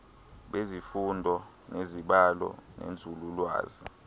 bezifundo zezibalo nenzululwazi